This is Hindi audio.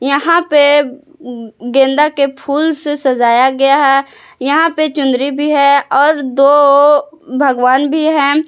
यहां पे गेंदा के फूल से सजाया गया है यहां पे चुनरी भी है और दो भगवान भी है।